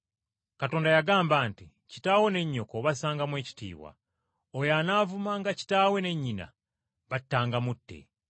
Katonda yagamba nti, ‘Kitaawo ne nnyoko obassangamu ekitiibwa. Oyo anaavumanga kitaawe ne nnyina battanga mutte,’